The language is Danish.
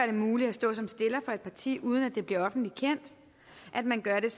det muligt at stå som stiller for et parti uden at det bliver offentligt kendt at man gør det